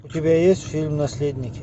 у тебя есть фильм наследники